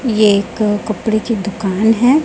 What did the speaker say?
ये एक कपड़े की दुकान है।